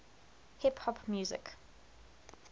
hip hop music